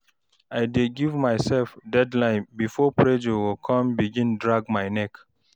I dey giv myself deadline bifor pressure go con begin drag my neck